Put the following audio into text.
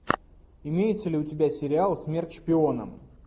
имеется ли у тебя сериал смерть шпионам